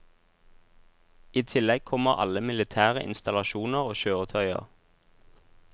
I tillegg kommer alle militære installasjoner og kjøretøyer.